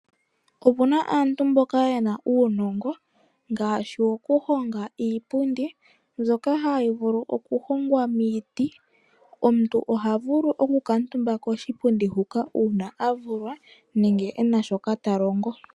Opuna aantu mboka yena uunongo ngaashi woku honga iipundi mbyoka hayi vulu okuhongwa miiti moka omuntu ha vulu oku kaatumba koshipundi huka uuna haa a vulwa nenge ena shoka talongo.